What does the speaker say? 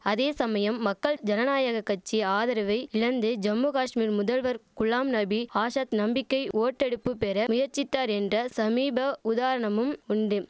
அதே சமயம் மக்கள் ஜனநாயக கட்சி ஆதரவை இழந்து ஜம்முகாஷ்மீர் முதல்வர் குலாம் நபி ஆசாத் நம்பிக்கை ஓட்டெடுப்பு பெற முயற்சித்தார் என்ற சமீப உதாரணமும் உண்டும்